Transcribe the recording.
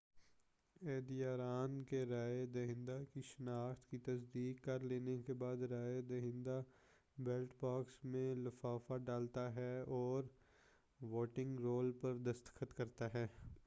عہدیداران کے رائے دہندہ کی شناخت کی تصدیق کر لینے کے بعد رائے دہندہ بیلٹ باکس میں لفافہ ڈالتا ہے اور ووٹنگ رول پر دستخط کرتا ہے